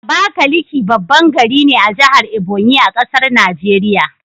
Abakaliki baban gari ne a jahar Ebonyi,a ƙasar Nigeria